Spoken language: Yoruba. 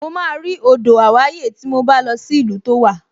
Mo máa rí odò àwáyè tí mo bá lọ sí ìlú tó wà